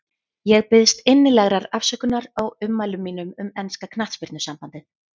Ég biðst innilegrar afsökunar á ummælum mínum um enska knattspyrnusambandið.